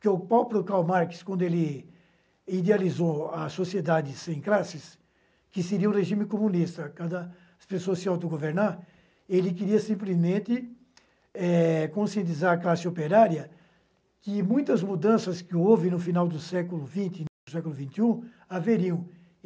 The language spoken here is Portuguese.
Porque o próprio Karl Marx, quando ele idealizou a sociedade sem classes, que seria um regime comunista, cada pessoa se autogovernar, ele queria simplesmente eh conscientizar a classe operária que muitas mudanças que houve no final do século vinte e no século vinte e um haveriam.